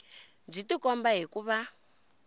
byi tikomba hi ku va